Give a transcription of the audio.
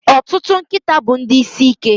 Ọtụtụ nkịta bụ ndị isi ike.